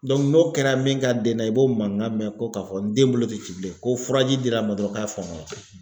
n'o kɛra min ka den na , i b'o mankan mɛn ko ka fɔ n den bolo te ci bilen ko furaji dira n ma dɔrɔn ka fɔɔnɔ na.